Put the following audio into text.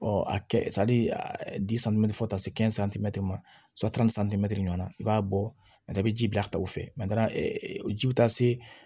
Ɔ a kɛ fo ka taa se ma ɲɔgɔn na i b'a bɔ bɛ ji bila ka taa o fɛ ji bɛ taa se